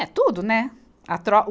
É tudo, né? A tro, o